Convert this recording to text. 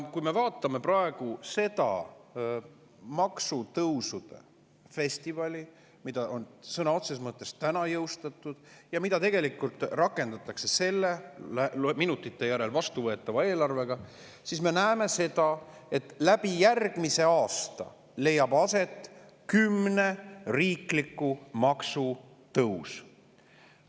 Kui me vaatame praegu seda maksutõusude festivali, mis on sõna otseses mõttes täna jõustatud ja mida tegelikult rakendatakse selle eelarvega, mis minutite järel vastu võetakse, siis me näeme, et järgmisel aastal leiab aset kümne riikliku maksu tõus.